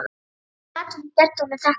Hvernig gat hún gert honum þetta?